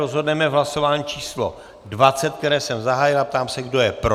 Rozhodneme v hlasování číslo 20, které jsem zahájil, a ptám se, kdo je pro.